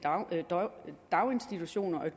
daginstitutioner er